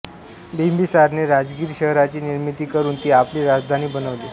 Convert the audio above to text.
बिंबिसारने राजगीर शहराची निर्मिती करून ती आपली राजधानी बनवली